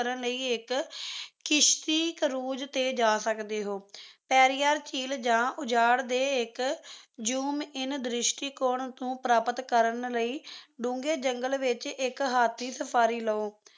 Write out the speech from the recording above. ਕਰਨ ਲਈ ਇੱਕ ਕਿਸ਼ਤੀ cruze ਤੇ ਜਾ ਸਕਦੇ ਹੋ ਪੇਰੀਆਰ ਝੀਲ ਜਾਂ ਉਜਾੜ ਦੇ zoom in ਦ੍ਰਿਸ਼ਟੀਕੋਣ ਨੂੰ ਪ੍ਰਾਪਤ ਕਰਨ ਲਈ ਡੂੰਘੇ ਜੰਗਲ ਵਿੱਚ ਇੱਕ ਹਾਥੀ ਸਫਾਰੀ ਲਓ